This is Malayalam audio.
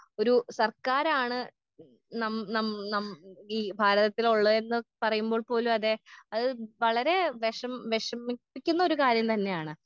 ഒരു സർക്കാരാണ് ഉം നം നം നം ഈ ഭാരതത്തിലുള്ളതെന്ന് പറയുമ്പോൾ പോലും അതെ അത് വളരേ വെഷം വെഷമിപ്പിക്കുന്നൊരു കാര്യം തന്നെയാണ്.